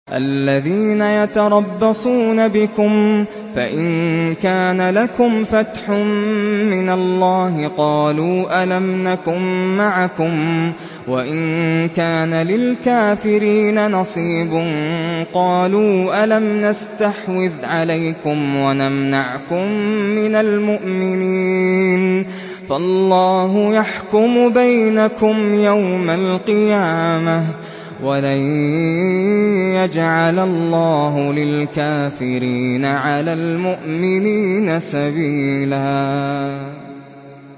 الَّذِينَ يَتَرَبَّصُونَ بِكُمْ فَإِن كَانَ لَكُمْ فَتْحٌ مِّنَ اللَّهِ قَالُوا أَلَمْ نَكُن مَّعَكُمْ وَإِن كَانَ لِلْكَافِرِينَ نَصِيبٌ قَالُوا أَلَمْ نَسْتَحْوِذْ عَلَيْكُمْ وَنَمْنَعْكُم مِّنَ الْمُؤْمِنِينَ ۚ فَاللَّهُ يَحْكُمُ بَيْنَكُمْ يَوْمَ الْقِيَامَةِ ۗ وَلَن يَجْعَلَ اللَّهُ لِلْكَافِرِينَ عَلَى الْمُؤْمِنِينَ سَبِيلًا